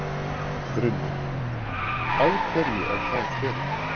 Brynja: Af hverju er það betra?